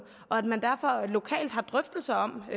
og at man derfor lokalt har drøftelser om